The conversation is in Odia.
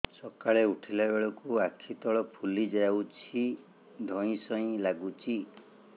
ସକାଳେ ଉଠିଲା ବେଳକୁ ଆଖି ତଳ ଫୁଲି ଯାଉଛି ଧଇଁ ସଇଁ ଲାଗୁଚି